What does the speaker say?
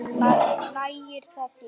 Nægir það þér?